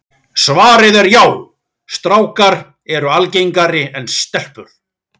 Svarið er já, strákar eru algengari en stelpur.